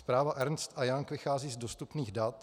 Zpráva Ernst & Young vychází z dostupných dat.